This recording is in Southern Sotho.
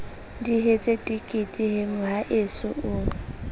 dihetse tekete he mohaeso o